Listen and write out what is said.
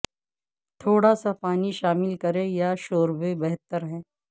تھوڑا سا پانی شامل کریں یا شوربے بہتر ہے